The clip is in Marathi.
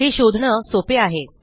हे शोधणं सोपे आहे